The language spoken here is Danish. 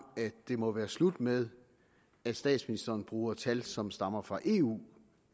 at det må være slut med at statsministeren bruger tal som stammer fra eu